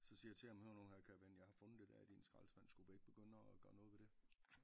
Så siger til ham hør nu her kære ven jeg har fundet det dér i din skraldespand skulle vi ikke begynde at gøre noget ved det